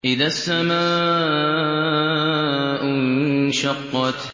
إِذَا السَّمَاءُ انشَقَّتْ